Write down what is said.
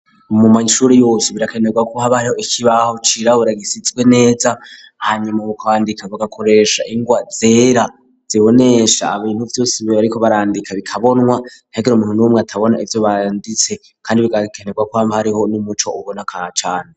Mu mashure yose birakenerwa ko hab ariho ikibaho cirabura gisitswe neza hanyuma ukwandika bagakoresha ingwa zera zibonesha abintu byose bibe ariko barandika bikabonwa ntegan umuntu nuw'umwe atabona ibyo banditse kandi birakenerwa koama hariho n'umuco ubona kacane